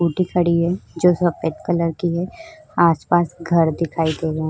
Scooty खड़ी है जो सफेद कलर की है आस-पास घर दिखाई दे रहा।